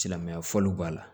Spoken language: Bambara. Silamɛya fɔliw b'a la